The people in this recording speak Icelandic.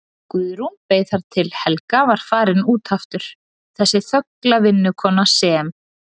Guðrún beið þar til Helga var farin út aftur, þessi þögla vinnukona sem